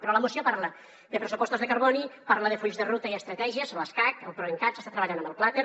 però la moció parla de pressupostos de carboni parla de fulls de ruta i estratègies l’escacc el proencat s’està treballant en el plater